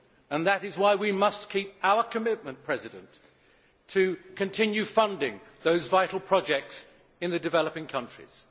and that is why we must keep our commitment to continue funding those vital projects in the developing countries.